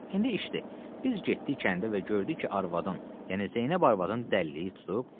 İndi işdir, biz getdik kəndə və gördük ki, arvadın, yəni Zeynəb arvadın dəlliyi tutub.